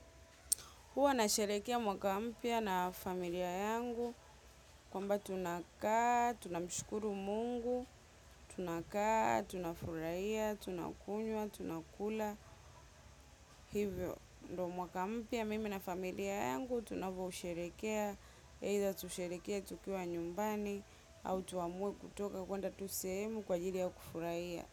Huwa nasherekea mwaka mpya na familia yangu kwamba tunakaa, tunamshukuru Mungu, tunakaa, tunafurahia, tunakunywa, tunakula. Hivyo, ndo mwaka mpya mimi na familia yangu tunavyousherekea. Eidha tusherekee tukiwa nyumbani au tuamue kutoka kwenda tu sehemu kwa ajili ya kufurahia.